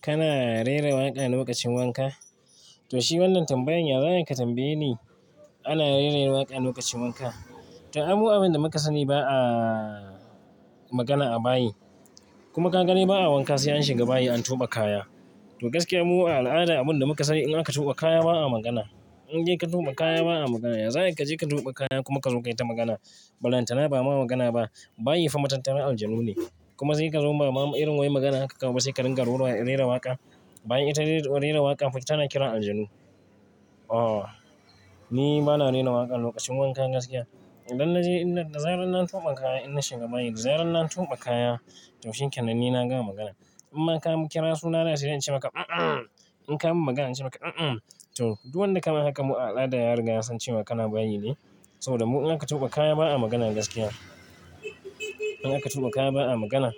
Kana rera waƙa a lokacin wanka? To shi wannan tambayan, ya za ayi ka tambaye ni? Ana rera waƙa lokacin wanka. To, aimu abin da muka sani ba a magana a bayi kuma kaga de ba a wanka sai an shiga bayi an tuɓe kaya. To gaskiya mu a al'ada abin da muka sani in aka tuɓa kaya ba a magana. In de ka tuɓa kaya ba a magana. Ya za ayi ka je ka tuɓa kaya kuma ka zo kai ta magana? Balantana ba ma magana ba. Bayi fa matattaran aljanu ne kuma sai ka zo bama irin wai magana haka kawai sai ka ringa rera waƙa. Bayi ita rera waƙa, fa ita na kiran aljanu. Oh, ni bana rera waƙa lokacin wanka gaskiya. Idan na je, da zarar na tuɓa kaya ina shiga bayi. Da zarar na tuɓa kaya to shikenan ni na gama magana. In ma ka kira suna na sai de in ce maka a-an. In ka min magana in ce maka a-an. To, duk wanda kama haka mu a al'ada yariga yasan ce wa kana bayi ne. Saboda mu in aka tuɓa kaya ba a magana gaskiya. In aka tuɓa kaya ba a magana.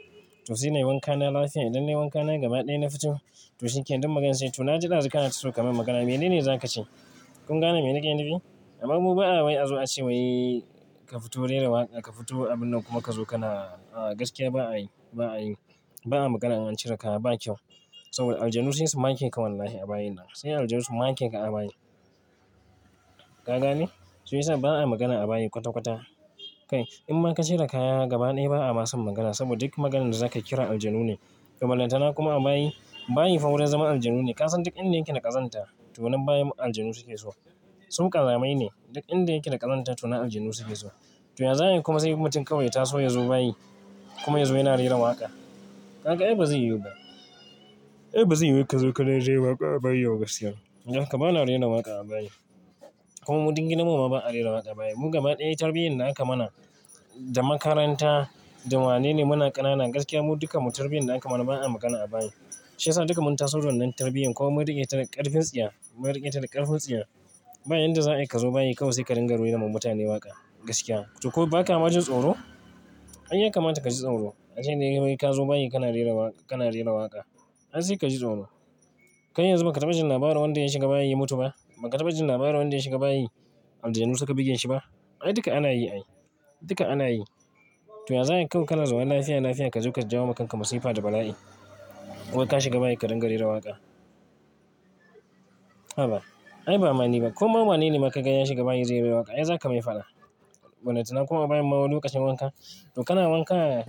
To sai nayi wanka na lafiya. Idan nayi wanka na gaba ɗaya na fito to shinkenan duk magance. To na ji dazu ka na so ka min magana, mene ne za ka ce? Kun gane me nake nufi? Amma mu ba a wai azo a ce wai ka fito rera waƙa, ka fito abun nan kuma ka zo kana, a, gaskiya ba a yi, ba a yi. Ba a magana in a cire kaya ba kyau. Saboda aljanu sai su make ka wallahi a bayin nan. Sai aljanu su make ka a bayi. Kaga ne? Shiyasa ba a magana a bayi kwata-kwata. Kai, in ma ka cire kaya gaba ɗaya ba a mason magana saboda duk maganan da zakayi kiran aljanu ne. Balantana kuma a bayi, bayi fa wurin zaman aljanu ne. Ka san duk inda yake da ƙazanta to nan bayi aljanu suke so. Su ƙazamai ne. Duk inda yake da ƙazanta to na aljanu suke so. To ya za ayi kuma sai mutum kawai ya taso ya zo bayi kuma ya zo yana rera waƙa? Kaga ai bazai yuba. Ai bazai yiwu ka zo ka rera waƙa a bayi ba gaskiya. Don haka bana rera waƙa a bayi. Kuma mu duk gidan mu ma ba a rera waƙa a bayi. Mu gaba ɗaya tarbiyyar da aka mana da makaranta da wanene muna ƙanana gaskiya mu dukan mu tarbiyyar da aka mana ba a magana a bayi. Shi ya sa duka mun taso da wannan tarbiyyar ko mun riƙe ta da ƙarfin tsiya, mun riƙe ta da ƙarfin tsiya. Bayadda za a yi ka zo bayi kawai sai ka ringa rera ma mutane waƙa. Gaskiya. To ko baka majin tsoro? Ai ya kamata ka ji tsoro. Har jin nayi wai ka zo bayi kana rera waƙa, kana rera waƙa. Ai sai ka ji tsoro. Kai yanzu baka taɓajin labarin wanda ya shiga bayi ya mutu ba? Baka taɓajin labarin wanda ya shiga bayi aljanu suka buge shi ba? Ai duka ana yi ai. Duka ana yi. To ya za ayi kawai kana zaune lafiya lafiya ka zo ka jawo wa kanka masifa da bala'i? Ka shiga bayi ka ringa rera waƙa. Ha ba. Ai ba ma ni ba. Koma wanene ma ka gani ya shiga bayi zai rera waƙa? Ai zaka mai faɗa. Balantana kuma a bayin ma wani lokacin wanka. To kana wanka,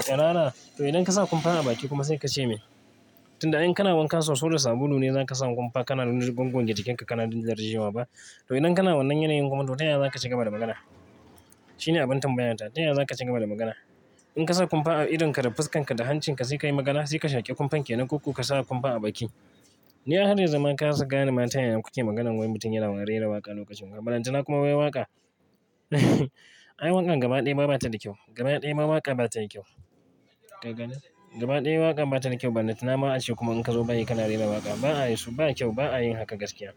tsurara. To idan ka sa kumfa a baki kuma sai ka ce min. Tunda ai in kana wanka soso da sabulu ne zaka sa kumfa kana gwanjon jikin ka kana dirje wa ba. To idan kana wannan yanayin kuma to taya za ka ciga ba da magana? Shi ne abin tambayan ta. Taya za ka ciiga ba da magana? In ka sa kumfa a idon ka da fuskan ka da hancin ka sai ka yi magana? Sai ka shaki kumfan kenan koko ka sa kumfan a baki? Ni a har yanzu ma na kasa gane mata ya kuke maganan wai mutum yana rera waƙa lokacin wanka. Balantana kuma wai waƙa? Ai waƙan gaba ɗaya ma bata da kyau. Gaba ɗaya ma waƙa bata da kyau. Gaba ɗaya waƙa bata da kyau balantana ma ace kuma in ka zo bayi kana rera waƙa. Ba a yisu, ba kyau, ba a yin haka gaskiya.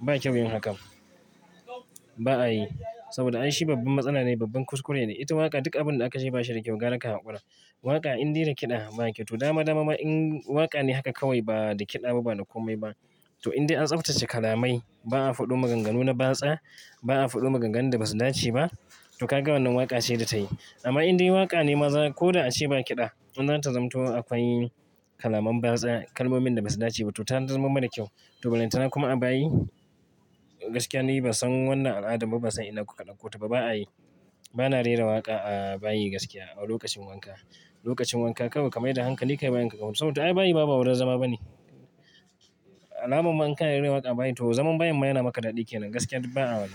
Ba kyau yin hakan. Ba a yi. Saboda ai shi babban matsala ne, babban kuskure ne. Ita waƙa duk abin da aka ce ba shi da kyau. Gwara ka haƙura. Waƙa in deda kiɗa ba kyau. To dama dama ma in waƙa ne haka kawai ba da kiɗa ba ba da komai ba. To indai an tsaftace kalamai ba a faɗi maganganu na batsa, ba a faɗo maganganun da basu dace ba. To kaga wannan waƙa ce da tayi. Amma in dai waƙa ne maza ko da a ce ba kiɗa, in zata zamto akwai kalaman batsa, kalmomin da basu dace ba. To ta zamu mara kyau. To balantana kuma a bayi, gaskiya ni ban san wannan al'adan ba, ba san ina kuka ɗauko ta ba. Ba a yi. Ba na rera waƙa a bayi gaskiya a lokacin wanka. Lokacin wanka kawai ka mai da hankali ka yi bayin ka kawai. Saboda to ai bayi ma ba wurin zama ba ne. Alama ma in kana rera waƙa a bayi to zaman bayin ma yana maka daɗi kenan. Gaskiya duk ba a wannan.